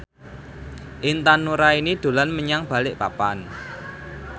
Intan Nuraini dolan menyang Balikpapan